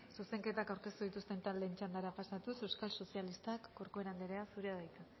zuzenketak aurkeztu dituzten taldeen txandara pasatuz euskal sozialistak corcuera anderea zurea da hitza